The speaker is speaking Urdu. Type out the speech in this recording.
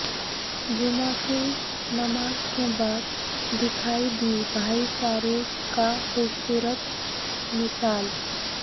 جمعہ کی نماز کے بعد دیکھا ئی دی بھائی چارے کا خوبصورت مثال